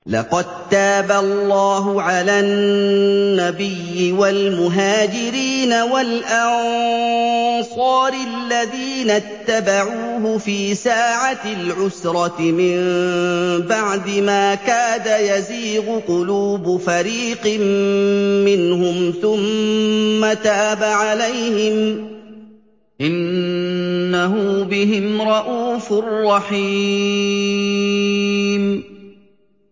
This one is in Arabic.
لَّقَد تَّابَ اللَّهُ عَلَى النَّبِيِّ وَالْمُهَاجِرِينَ وَالْأَنصَارِ الَّذِينَ اتَّبَعُوهُ فِي سَاعَةِ الْعُسْرَةِ مِن بَعْدِ مَا كَادَ يَزِيغُ قُلُوبُ فَرِيقٍ مِّنْهُمْ ثُمَّ تَابَ عَلَيْهِمْ ۚ إِنَّهُ بِهِمْ رَءُوفٌ رَّحِيمٌ